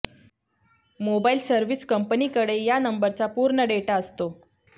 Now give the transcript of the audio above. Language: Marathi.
मोबाईल सर्व्हिस कंपनीकडे या नंबरचा पूर्ण डेटा असतो